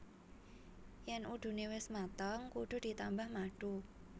Yén udune wis mateng kudu ditambah madu